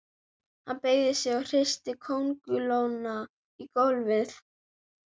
Hann beygði sig og hristi kóngulóna á gólfið.